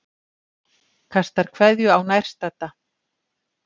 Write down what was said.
Kastar kveðju á nærstadda.